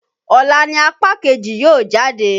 Ọ̀la ni apá kejì yóò jáde.